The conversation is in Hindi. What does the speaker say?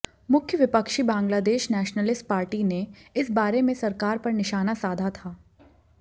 मुख्य विपक्षी बांग्लादेश नेशनलिस्ट पार्टी ने इस बारे में सरकार पर निशाना साधा था